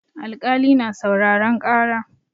Alkali na sauraren ƙara.